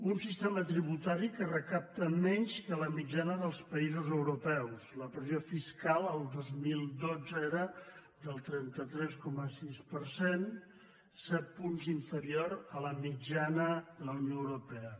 un sistema tributari que recapta menys que la mitjana dels països europeus la pressió fiscal el dos mil dotze era del trenta tres coma sis per cent set punts inferior a la mitjana de la unió europea